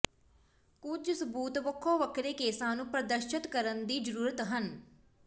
ਕੁਝ ਸਬੂਤ ਵੱਖੋ ਵੱਖਰੇ ਕੇਸਾਂ ਨੂੰ ਪ੍ਰਦਰਸ਼ਤ ਕਰਨ ਦੀ ਜ਼ਰੂਰਤ ਹਨ